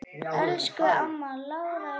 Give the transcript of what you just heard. Elsku amma Lára er farin.